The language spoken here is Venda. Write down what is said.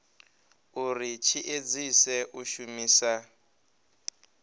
uri tshi edzise u shumisa